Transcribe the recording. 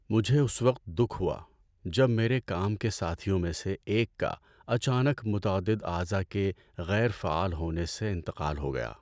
مجھے اس وقت دکھ ہوا جب میرے کام کے ساتھیوں میں سے ایک کا اچانک متعدد اعضاء کے غیر فعال ہونے سے انتقال ہو گیا۔